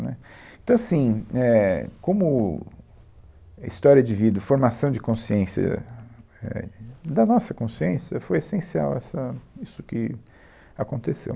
Né, então, assim, éh, como história de vida, formação de consciência, éh, é, da nossa consciência, foi essencial, essa, isso que aconteceu.